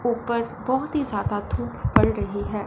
ऊपर बहुत ही ज्यादा धूप पड़ रही है।